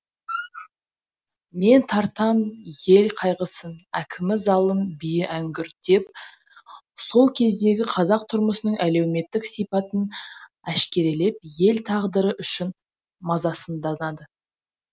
мен тартам ел қайғысын әкімі залым биі әңгүрт деп сол кездегі қазақ тұрмысының әлеуметтік сипатын әшкерелеп ел тағдыры үшін мазасызданады